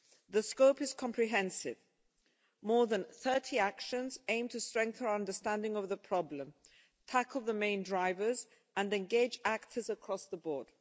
The scope is comprehensive more than 30 actions aimed to strengthen our understanding of the problem, tackle the main drivers and engage actors across the board.